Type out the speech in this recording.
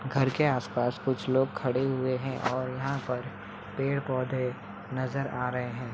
--घर के आसपास कुछ लोग खड़े हुए हैं और यहां पर पेड़ पौधे नजर आ रहे हैं।